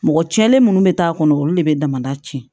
Mɔgɔ cɛlen minnu bɛ taa kɔnɔ olu de bɛ damadan tiɲɛ